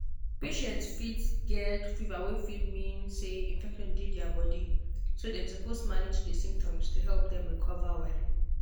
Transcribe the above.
patients fit get fever wey fit mean say infection dey their body so dem suppose manage di symptoms to help dem recover well.